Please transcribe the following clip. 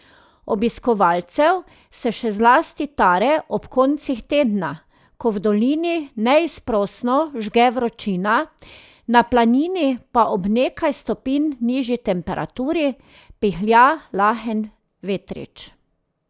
Obiskovalcev se še zlasti tare ob koncih tedna, ko v dolini neizprosno žge vročina, na planini pa ob nekaj stopinj nižji temperaturi pihlja lahen vetrič.